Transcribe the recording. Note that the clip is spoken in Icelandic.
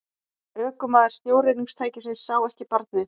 Ökumaður snjóruðningstækisins sá ekki barnið